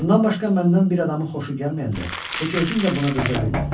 Bundan başqa məndən bir adamı xoşu gəlməyəndə heç özüm də buna dözə bilmirdim.